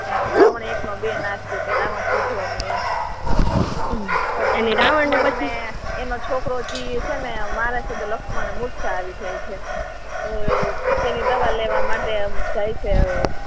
અને રાવણ એક નો બે ના થયો એમ કે રાવણ સુધરે એમ પછી રાવણ ને એનો છોકરો જે તીર મારે છે ને લક્ષ્મણ મૂરછા આવી જાય છે તેની દવા લેવા માટે જાય છે